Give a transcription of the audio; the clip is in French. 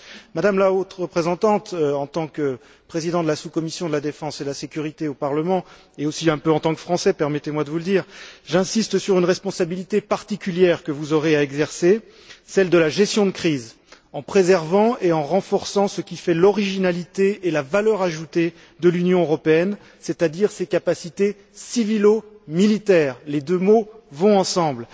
Madame la Haute représentante, en tant que président de la sous commission sécurité et défense du Parlement, et aussi un peu en tant que Français, permettez moi de vous le dire, j'insiste sur une responsabilité particulière que vous aurez à exercer, celle de la gestion des crises, en préservant et en renforçant ce qui fait l'originalité et la valeur ajoutée de l'Union européenne, c'est à dire ses capacités civilo militaires les deux mots vont ensemble.